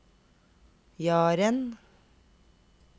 Jaren